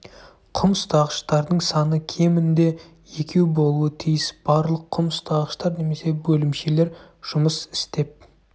құм ұстағыштардың саны кемінде екеу болуы тиіс барлық құм ұстағыштар немесе бөлімшелер жұмыс істеп